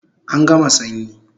An gama sanyi